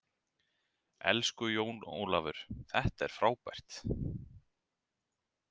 Elsku Jón Ólafur, þetta er frábært.